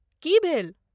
की भेल?